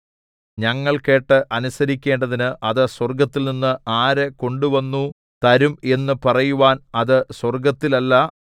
ഞങ്ങൾ കേട്ട് അനുസരിക്കേണ്ടതിന് അത് സ്വർഗ്ഗത്തിൽനിന്ന് ആര് കൊണ്ടുവന്നു തരും എന്നു പറയുവാൻ അത് സ്വർഗ്ഗത്തിലല്ല